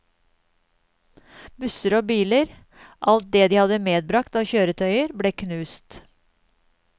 Busser og biler, alt det de hadde medbragt av kjøretøyer ble knust.